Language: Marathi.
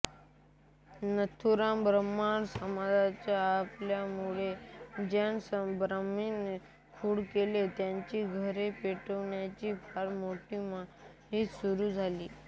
नथुराम ब्राह्मण समाजाचा असल्या मुळे ज्याब्राह्मणांनी खून केला त्यांची घरे पेटवण्याची फारमोठी मोहिम सुरू झाली